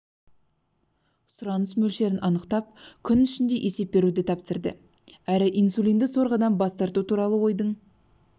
сұраныс мөлшерін анықтап күн ішінде есеп беруді тапсырды әрі инсулинді сорғыдан бас тарту туралы ойдың